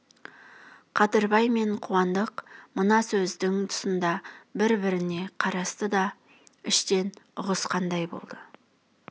қадырбай мен қуандық мына сөздің тұсында бір-біріне қарасты да іштен ұғысқандай болды